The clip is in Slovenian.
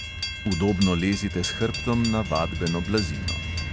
Udobno lezite s hrbtom na vadbeno blazino.